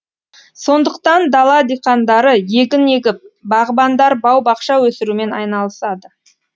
сондықтан дала диқандары егін егіп бағбандар бау бақша өсірумен айналысады